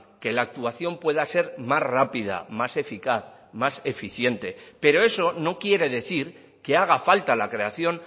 que la actuación pueda ser más rápida más eficaz más eficiente pero eso no quiere decir que haga falta la creación